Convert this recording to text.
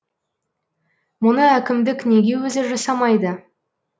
мұны әкімдік неге өзі жасамайды